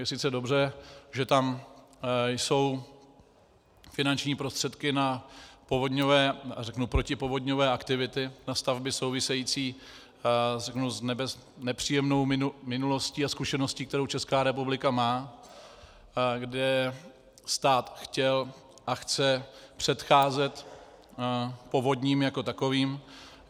Je sice dobře, že tam jsou finanční prostředky na protipovodňové aktivity, na stavby související s nepříjemnou minulostí a zkušeností, kterou Česká republika má, kde stát chtěl a chce předcházet povodním jako takovým.